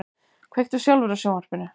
Kveiktu sjálfur á sjónvarpinu.